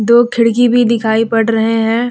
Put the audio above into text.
दो खिड़की भी दिखाई पड़ रहे हैं।